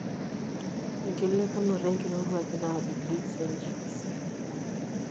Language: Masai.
Enkilepunoto enkirowuaj naa °C